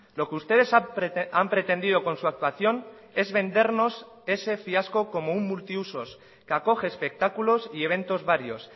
lo que ustedes han pretendido con su actuación es vendernos ese fiasco como un multiusos que acoge espectáculos y eventos varios